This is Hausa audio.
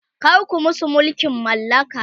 kar ku musu mulkin mallaka!